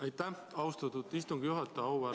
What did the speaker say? Aitäh, austatud istungi juhataja!